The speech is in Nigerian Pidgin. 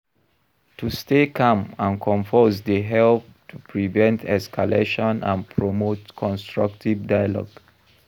To stay calm and composed dey help to prevent escalation and promote constructive dialogue.